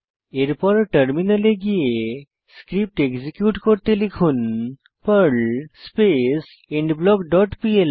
এরপর টার্মিনালে গিয়ে স্ক্রিপ্ট এক্সিকিউট করতে লিখুন Perl space end block dot PL